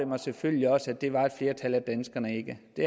mig selvfølgelig også at det var et flertal af danskerne ikke det